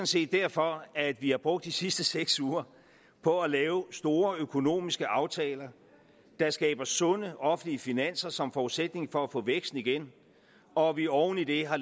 set derfor at vi har brugt de sidste seks uger på at lave store økonomiske aftaler der skaber sunde offentlige finanser som forudsætning for at få væksten igen og at vi oven i det har